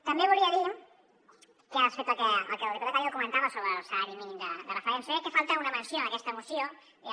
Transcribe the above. també volia dir que respecte al que el diputat gallego comentava sobre el salari mínim de referència jo crec que falta una menció a aquesta moció diguem ne